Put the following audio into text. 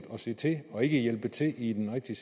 at se til og ikke hjælpe til i den rigtige